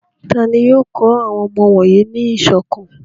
Ta ni yóò kọ́ àwọn ọmọ wọ̀nyí ní ìṣọ̀kan?